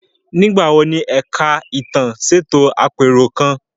Nígbà wo ni Ẹ̀ka Ìtàn ṣètò àpérò kan?